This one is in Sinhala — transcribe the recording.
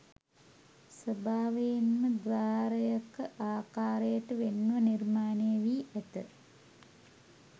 ස්වභාවයෙන්ම ද්වාරයක ආකාරයට වෙන්ව නිර්මාණය වී ඇත